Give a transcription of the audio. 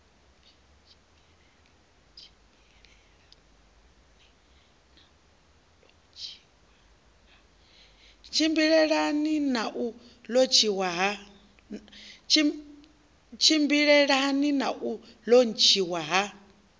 tshimbilelane na u lontshiwa ha